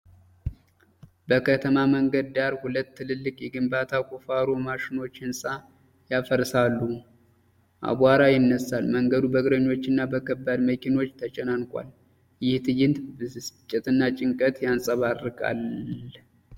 በከተማ መንገድ ዳር ሁለት ትልልቅ የግንባታ ቁፋሮ ማሽኖች ሕንፃ ያፈርሳሉ። አቧራ ይነሳል፤ መንገዱ በእግረኞችና በከባድ መኪኖች ተጨናንቋል። ይህ ትዕይንት ብስጭትና ጭንቀት ያንጸባርቃል።